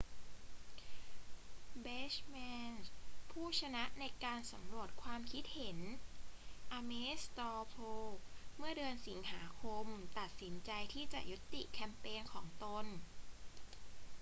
bachmann ผู้ชนะในการสำรวจความคิดเห็น ames straw poll เมื่อเดือนสิงหาคมตัดสินใจที่จะยุติแคมเปญของตน